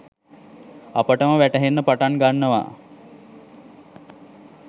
අපටම වැටහෙන්න පටන් ගන්නවා.